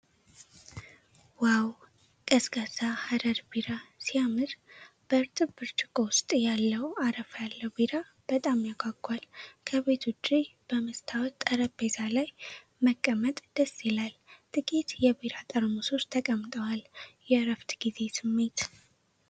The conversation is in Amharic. ዋው! ቀዝቃዛ ሀረር ቢራ ሲያምር ! በእርጥብ ብርጭቆ ውስጥ ያለው አረፋ ያለው ቢራ በጣም ያጓጓል ። ከቤት ውጭ በመስታወት ጠረጴዛ ላይ መቀመጥ ደስ ይላል ። ጥቂት የቢራ ጠርሙሶች ተቀምጠዋል። የእረፍት ጊዜ ስሜት!